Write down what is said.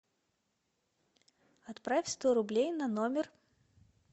отправь сто рублей на номер